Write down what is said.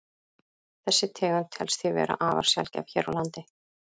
Þessi tegund telst því vera afar sjaldgæf hér á landi.